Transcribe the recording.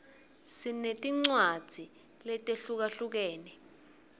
sinetincwadzi letehlukahlukene